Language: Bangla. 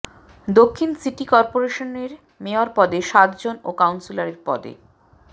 দক্ষিণ সিটি করপোরেশনের মেয়র পদে সাতজন ও কাউন্সিলর পদে